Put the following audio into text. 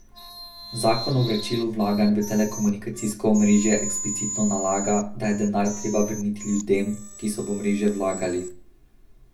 Zakon o vračilu vlaganj v telekomunikacijsko omrežje eksplicitno nalaga, da je denar treba vrniti ljudem, ki so v omrežje vlagali.